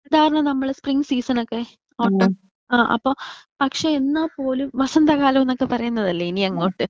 അപ്പോ സാധാരണ നമ്മൾ സ്പ്രിംഗ് സീസൺ ഒക്കെ ഓട്ടം ആ അപ്പോ പക്ഷെ എന്നാൽ പോലും വസന്ത കാലോന്നൊക്കെ പറയുന്നത് അല്ലെ ഇനി അങ്ങോട്ട്.